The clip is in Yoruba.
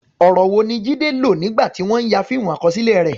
Ọ̀rọ̀ wo ni Jide lò nígbà tí wọ́n ń ya fíìmù àkọsílẹ̀ rẹ̀?